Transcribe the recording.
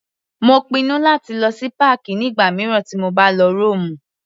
Mo pinnu láti lọ sí páàkì nígbà mìíràn tí mo bá lọ Rómù.